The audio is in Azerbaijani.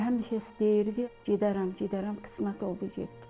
Elə həmişə istəyirdi, gedərəm, gedərəm, qismət oldu getdi.